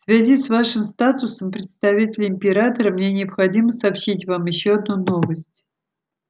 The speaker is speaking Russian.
в связи с вашим статусом представителя императора мне необходимо сообщить вам ещё одну новость